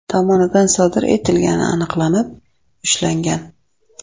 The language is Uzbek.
tomonidan sodir etilgani aniqlanib, ushlangan.